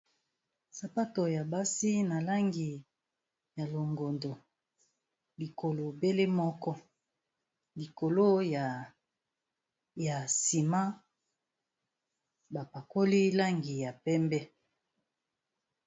Sapato ya basi na langi ya longondo, likolo bele moko likolo ya nsima bapakoli langi ya pembe.